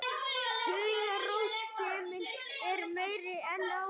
Hugarrósemin er meiri en áður.